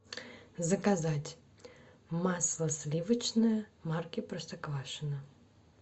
заказать масло сливочное марки простоквашино